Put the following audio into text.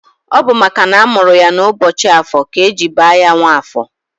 Ọ bụ makana amụrụ ya n'ụbọchị Afọ ka eji baa ya Nwafọ